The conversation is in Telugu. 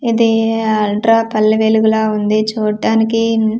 ఇది-ది అల్ట్రా పల్లె వెలుగులా ఉంది చూట్టానికి.